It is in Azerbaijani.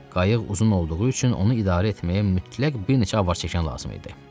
Qayıq uzun olduğu üçün onu idarə etməyə mütləq bir neçə avarçəkən lazım idi.